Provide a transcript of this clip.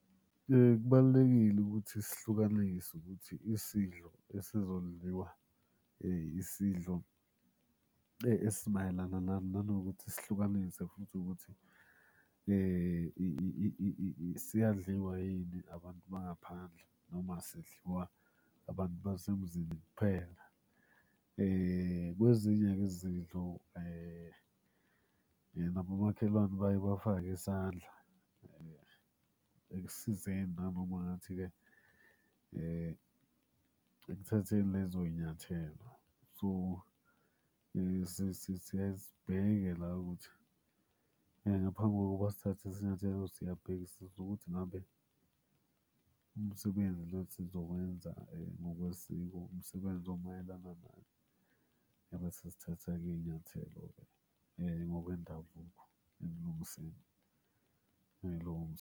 Kubalulekile ukuthi sihlukanise ukuthi isidlo esizodliwa isidlo esimayelana nani, nanokuthi sihlukanise futhi ukuthi siyadliwa yini abantu bangaphandle noma sidliwa abantu basemzini kuphela. Kwezinye-ke izidlo nabomakhelwane bayeke bafake isandla ekusizeni nanoma ngathi-ke ekuthatheni lezoy'nyathelo. So, siyaye sibheke la ukuthi ngaphambi kokuba sithathe isinyathelo siyabhekisisa ukuthi ngabe umsebenzi lo esizowenza ngokwesiko umsebenzi omayelana nani. Ebese sithatha-ke iy'nyathelo ngokwendabuko ekulungiseni .